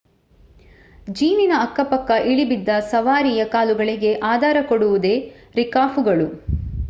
ಜೀನಿನ ಅಕ್ಕಪಕ್ಕ ಇಳಿಬಿದ್ದ ಸವಾರಿಯ ಕಾಲುಗಳಿಗೆ ಆಧಾರ ಕೊಡುವುದೇ ರಿಕಾಪುಗಳು